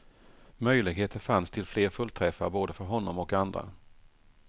Möjligheter fanns till fler fullträffar både för honom och andra.